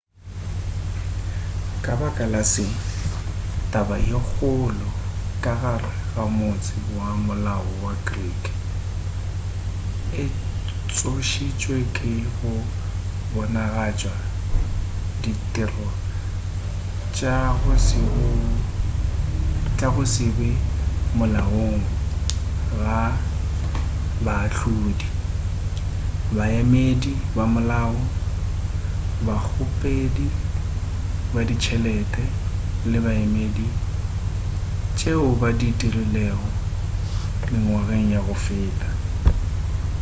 ka baka la se taba ye kgolo ka gare ga motse wa molao wa greek e tsošitšwe ka go bonagatša ditiro tša go se be molaong ga baahlodi baemedi ba molao bakgopedi ba ditšhelete le baemedi tšeo ba di dirilego mengwageng ya go feta